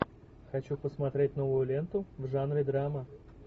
хочу посмотреть новую ленту в жанре драма